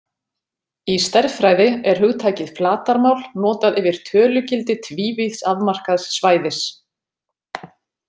Í stærðfræði er hugtakið flatarmál notað yfir tölugildi tvívíðs afmarkaðs svæðis.